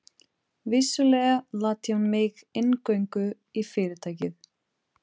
Vissulega latti hún mig inngöngu í Fyrirtækið.